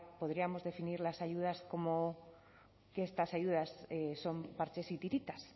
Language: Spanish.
podríamos definir las ayudas como que estas ayudas son parches y tiritas